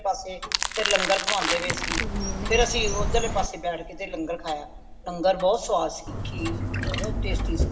ਪਾਸੇ ਲੰਗਰ ਖੁਆਂਦੇ ਪਏ ਸੀ ਫੇਰ ਅੱਸੀ ਓਧਰਲੇ ਪਾਸੇ ਬੈਠ ਕੇ ਤੇ ਲੰਗਰ ਖਾਯਾ ਲੰਗਰ ਬਹੁਤ ਸਵਾਦ ਸੀ ਖੀਰ ਬਹੁਤ tasty ਸੀ